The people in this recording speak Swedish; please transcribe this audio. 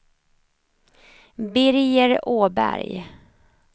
Birger Åberg